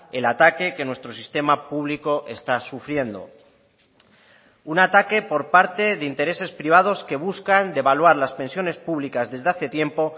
el ataque que nuestro sistema público está sufriendo un ataque por parte de intereses privados que buscan devaluar las pensiones públicas desde hace tiempo